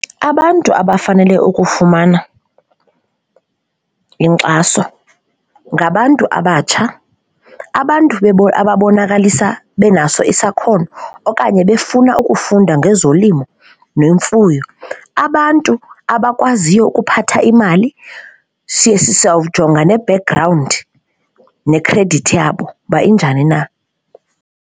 Abantu abafanele ukufumana inkxaso ngabantu abatsha, abantu abonakalisa benaso isakhono okanye befuna ufunda ngezolimo nemfuyo, abantu abakwaziyo ukuphatha imali siye, sawujonga ne-background nekhredithi yabo uba injani na.